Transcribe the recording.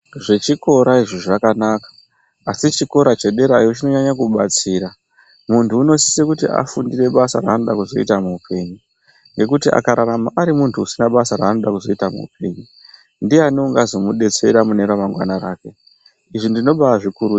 Zvechikora izvi zvakanaka, asi chikora chederayo chinonyanya kubatsira. Munthu unosise kuti afundire basa raanoda kuzoita muupenyu, ngekuti akararama ari munthu usina basa raanoda kuzoita muupenyu, ndiyani ungazomudetsera mune ramangwana rake? Izvi ndinobaazvikurudzira.